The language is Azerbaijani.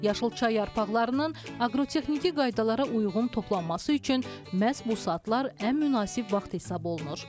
Yaşıl çay yarpaqlarının aqrotexniki qaydalara uyğun toplanması üçün məhz bu saatlar ən münasib vaxt hesab olunur.